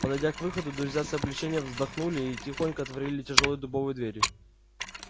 подойдя к выходу друзья с облегчением вздохнули и тихонько отворили тяжёлые дубовые двери